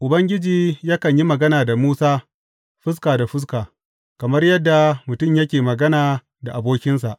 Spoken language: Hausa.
Ubangiji yakan yi magana da Musa fuska da fuska, kamar yadda mutum yake magana da abokinsa.